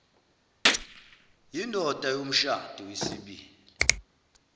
yindoda yomshado wesibili